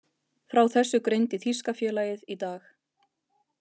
Frá þessu greindi þýska félagið í dag.